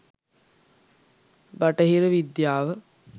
බටහිර විද්‍යාව